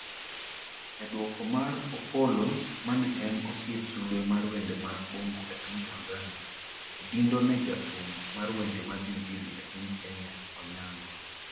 e duoko mar opollo mane en osiep sulwe mar wende mag bongo e piny Tanzania Odindo ne jathum mar wende mag injili e piny Kenya Onyango